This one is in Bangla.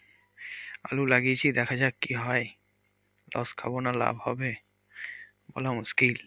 আলু লাগিয়েছি দেখা যাক কি হয় loss খাবো না লা হবে বলা মুশকিল।